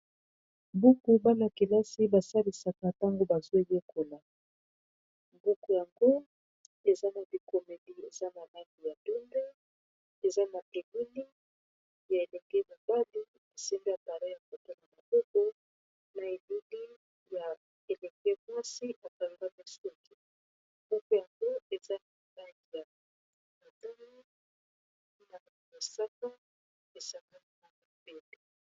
Buku bana-kelasi basalisaka ntango bazoeyekola buku yango eza na bikomedi eza malani ya doumbe eza matemili ya eleke mobadi besembe ya bara e mboto na moboko na eludi ya eleke mwasi ekalbaka soki buku yango eza na malagi ya atana na masaka esangaka mabete.